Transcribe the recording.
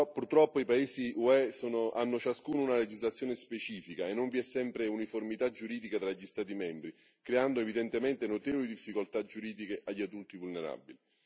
Purtroppo i paesi UE hanno ciascuno una legislazione specifica e non vi è sempre uniformità giuridica tra gli Stati membri, creando evidentemente notevoli difficoltà giuridiche agli adulti vulnerabili.